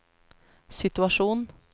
situasjon